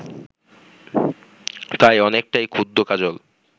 তাই অনেকটাই ক্ষুব্ধ কাজল